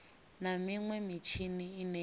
na minwe mitshini ine ya